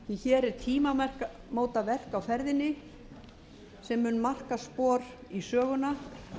bar til þeirra því hér er tímamótaverk á ferðinni sem mun marka spor í söguna